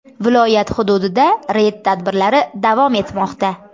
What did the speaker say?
Viloyat hududida reyd tadbirlari davom etmoqda.